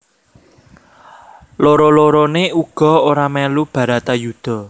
Loro loroné uga ora melu Bharatayuddha